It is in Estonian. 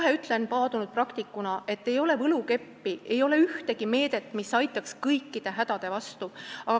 Ma ütlen kohe paadunud praktikuna, et ei ole võlukeppi, ei ole ühtegi meedet, mis aitaks kõikide hädade vastu.